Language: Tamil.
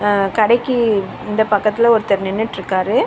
அ கடைக்கு இந்த பக்கத்துல ஒருத்தர் நின்னுட்ருக்காரு.